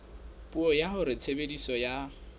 puo ya hore tshebediso ya